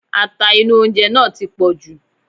Ata inú oúnjẹ náà ti pọ̀jù.